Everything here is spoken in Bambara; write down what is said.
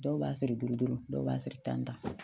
Dɔw b'a siri duuru dɔw b'a siri tan